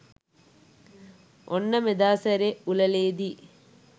ඔන්න මෙදා සැරේ උළෙලෙ'දී